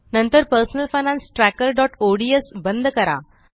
नंतर personal finance trackerओडीएस बंद करा